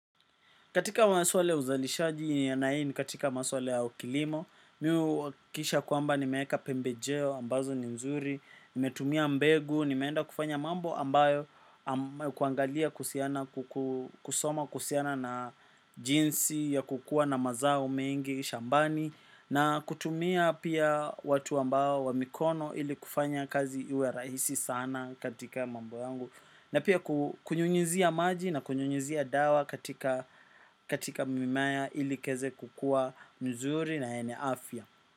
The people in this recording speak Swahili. Katika maswala ya uzalishaji na hii ni katika maswala ya kilimo. Mi huhakikisha kwamba nimeweka pembejeo ambazo ni nzuri. Nimetumia mbegu, nimeenda kufanya mambo ambayo kuangalia kusoma kuhusiana na jinsi ya kukuwa na mazao mengi shambani. Na kutumia pia watu ambao wa mikono ili kufanya kazi iwe rahisi sana katika mambo yangu. Na pia kunyunyuzia maji na kunyunyuzia dawa katika mimea ilikiweze kukuwa mzuri na yenye afya.